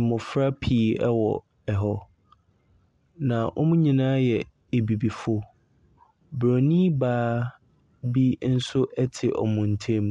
mmɔfra pii wɔ hɔ, na wɔn nyinaa yɛ Abibifoɔ. Bronin baa bi nso te wɔn ntam.